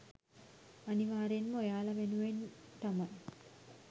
අනිවාර්යයෙන්ම ඔයාලා වෙනුවෙන් තමයි